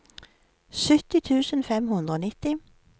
sytti tusen fem hundre og nitti